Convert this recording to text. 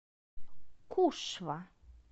кушва